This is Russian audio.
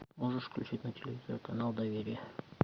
можешь включить на телевизоре канал доверие